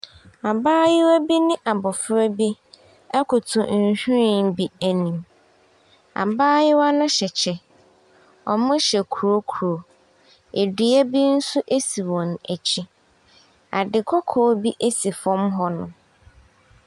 Abaayewa bi ne abɔfra bi te nhwiren bi anim, abaayewa ne hyɛ kyɛ, wɔhyɛ krokro, dua bi nso si wɔn akyi, ade kɔkɔɔ bi si fam hɔnom.